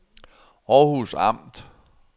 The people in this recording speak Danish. Århus Amt